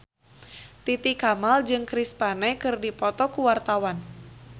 Titi Kamal jeung Chris Pane keur dipoto ku wartawan